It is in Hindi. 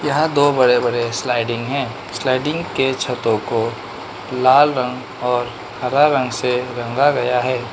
यहाँ दो बड़े बड़े स्लाइडिंग है स्लाइडिंग के छतों को लाल रंग और हरा रंग से रंगा गया है।